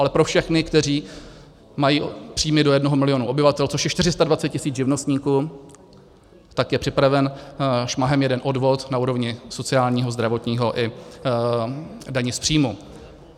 Ale pro všechny, kteří mají příjmy do jednoho milionu obyvatel - což je 420 tisíc živnostníků - tak je připraven šmahem jeden odvod na úrovni sociálního, zdravotního i daně z příjmu.